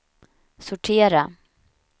sortera